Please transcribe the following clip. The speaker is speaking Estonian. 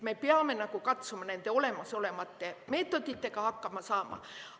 Me peame katsuma nende olemasolevate meetoditega hakkama saada.